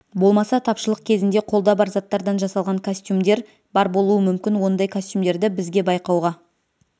болмаса тапшылық кезінде қолда бар заттардан жасалған костюмдер бар болуы мүмкін ондай костюмдерді бізге байқауға